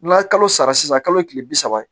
N'a ye kalo sara sisan kalo ye kile bi saba ye